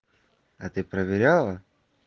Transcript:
а ты проверяла